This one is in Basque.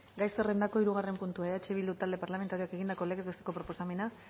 gai zerrendako hirugarren puntua eh bildu talde parlamentarioak egindako legez besteko proposamena